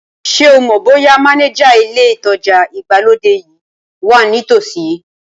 Ṣé o mọ̀ bóyá mánéjà ilé ìtajà ìgbàlódé yìí wà ní ìtòsí